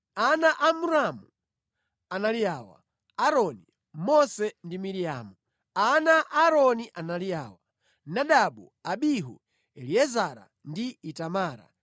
Ana a Amramu anali awa: Aaroni, Mose ndi Miriamu. Ana a Aaroni anali awa: Nadabu, Abihu, Eliezara ndi Itamara